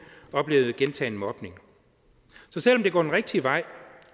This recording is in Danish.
oplevede gentagen mobning så selv om det går den rigtige vej